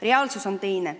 Reaalsus on teine.